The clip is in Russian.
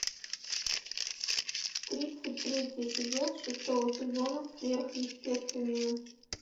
тридцать третий эпизод шестого сезона сверхъестественное